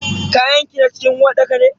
Kayanki na cikin uwarɗakar ne?